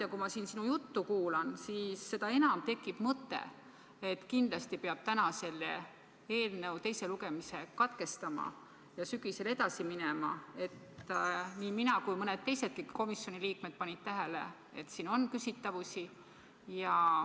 Ja kui ma siin sinu juttu kuulan, siis üha enam tekib mul mõte, et kindlasti peab täna selle eelnõu teise lugemise katkestama ja sügisel edasi minema, sest nii mina kui ka mõned teisedki komisjoni liikmed on pannud tähele, et siin on küsitavusi.